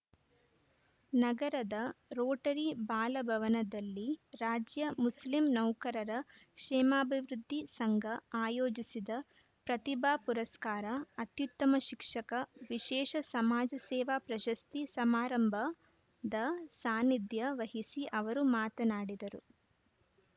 ನಗರದ ರೋಟರಿ ಬಾಲಭವನದಲ್ಲಿ ರಾಜ್ಯ ಮುಸ್ಲಿಂ ನೌಕರರ ಕ್ಷೇಮಾಭಿವೃದ್ಧಿ ಸಂಘ ಆಯೋಜಿಸಿದ ಪ್ರತಿಭಾ ಪುರಸ್ಕಾರ ಅತ್ಯುತ್ತಮ ಶಿಕ್ಷಕ ವಿಶೇಷ ಸಮಾಜ ಸೇವಾ ಪ್ರಶಸ್ತಿ ಸಮಾರಂಭದ ಸಾನಿಧ್ಯ ವಹಿಸಿ ಅವರು ಮಾತನಾಡಿದರು